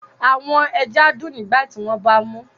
Awọn ẹja dun nigbati wọn ba mu